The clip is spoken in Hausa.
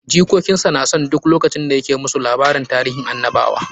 Jikokin sa na son duk lokacin da ya ke musu labarin tarihin annabawa.